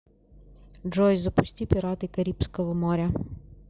джой запусти пираты карибского моря